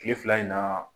Kile fila in na